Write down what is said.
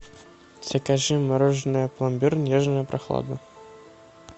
закажи мороженое пломбир нежная прохлада